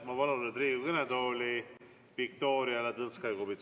Ma palun nüüd Riigikogu kõnetooli Viktoria Ladõnskaja-Kubitsa!